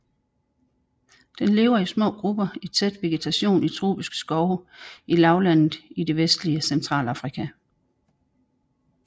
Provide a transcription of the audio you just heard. Den lever i små grupper i tæt vegetation i tropiske skove i lavlandet i det vestlige Centralafrika